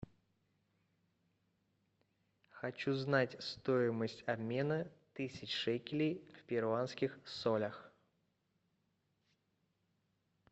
хочу знать стоимость обмена тысяч шекелей в перуанских солях